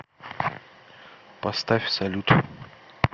поставь салют